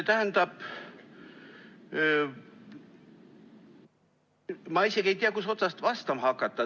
Jah, ma isegi ei tea, kust otsast vastama hakata.